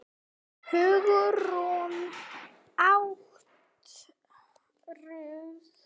Hugrún: Áttirðu margar eftir?